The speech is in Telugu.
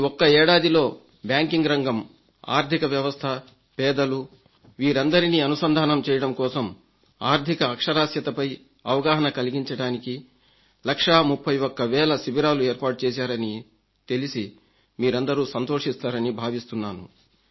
ఒక్క ఏడాదిలో బ్యాంకింగ్ రంగం ఆర్థికవ్యవస్థ పేదలు వీరందరినీ అనుసంధానం చేయడం కోసం ఆర్థిక అక్షరాస్యతపై అవగాహన కలిగించడానికి లక్షా 31 వేల శిబిరాలు ఏర్పాటుచేశారని తెలిసి మీరందరూ సంతోషిస్తారని భావిస్తున్నాను